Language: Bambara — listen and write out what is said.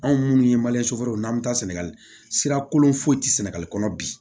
Anw minnu ye n'an bɛ taa sɛnɛkolon foyi tɛ sɛnɛgali kɔnɔ bi